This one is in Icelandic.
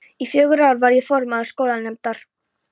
Í fjögur ár var ég formaður skólanefndar.